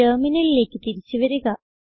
ടെർമിനലിലേക്ക് തിരിച്ച് വരിക